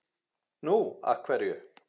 Nú. af hverju?